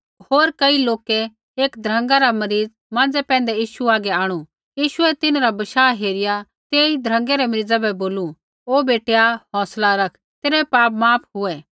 होर कई लोकै एक ध्रँगा रा मरीज़ माँज़ै पैंधै यीशु हागै आंणु यीशुऐ तिन्हरा बशाह हेरिया तेई ध्रँगै रै मरीज़ा बै बोलू ओ बेटैआ हौंसला रख तेरै पाप माफ हुऐ